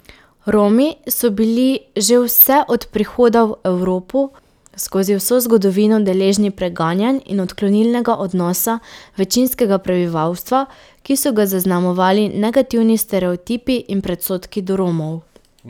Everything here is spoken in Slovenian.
Romi so bili že vse od prihoda v Evropo skozi vso zgodovino deležni preganjanj in odklonilnega odnosa večinskega prebivalstva, ki so ga zaznamovali negativni stereotipi in predsodki do Romov.